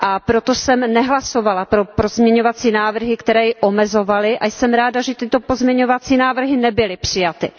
Proto jsem nehlasovala pro pozměňovací návrhy, které ji omezovaly, a jsem ráda, že tyto pozměňovací návrhy nebyly přijaty.